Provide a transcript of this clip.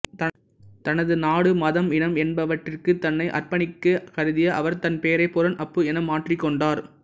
தனது நாடு மதம் இனம் என்பவற்றிற்கு தன்னை அர்ப்பணிக்க கருதிய அவர் தன் பெயரை புரன் அப்பு என மாற்றிக்கொண்டார்